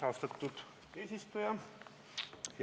Austatud eesistuja!